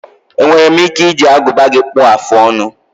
Enwere m ike iji aguba gị kpuọ afụ ọnụ?